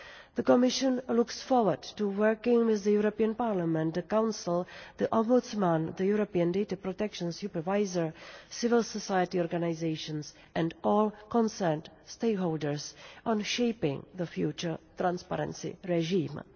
The Commission looks forward to working with the European Parliament, the Council, the Ombudsman, the European Data Protection Supervisor, civil society organisations and all concerned stakeholders on shaping the future transparency regime.